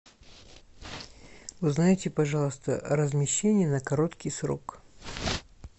узнайте пожалуйста размещение на короткий срок